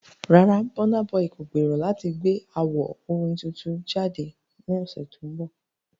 Rárá, Burna Boy kò gbèrò láti gbé àwo orin tuntun jáde ní oṣù tó ń bọ̀.